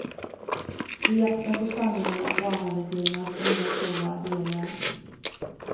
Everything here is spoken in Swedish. I jakten på sanningen om barnallergierna får inga kor vara heliga.